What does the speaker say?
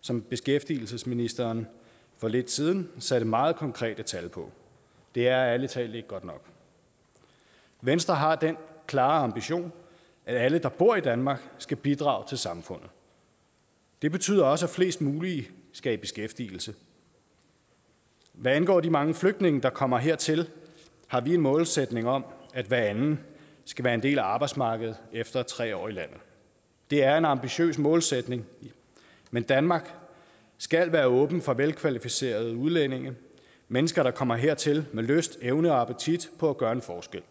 som beskæftigelsesministeren for lidt siden satte meget konkrete tal på det er ærlig talt ikke godt nok venstre har den klare ambition at alle der bor i danmark skal bidrage til samfundet det betyder også at flest muligt skal i beskæftigelse hvad angår de mange flygtninge der kommer hertil har vi en målsætning om at hver anden skal være en del af arbejdsmarkedet efter tre år i landet det er en ambitiøs målsætning men danmark skal være åben for velkvalificerede udlændinge mennesker der kommer hertil med lyst evne og appetit på at gøre en forskel